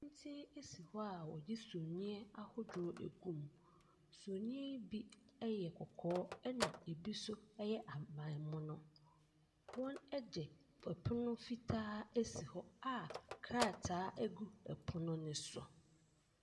si hɔ a wɔde summiiɛ ahodoɔ agum. Summiiɛ yi bi yɛ kɔkɔɔ ɛna ebi nso yɛ ahaban mono. Wɔde ɛpono fitaa asi hɔ a krataa gu ɛpono no so.